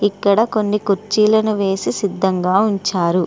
ఇక్కడ కొన్ని కుర్చీలను వేసి సిద్ధంగా ఉంచారు.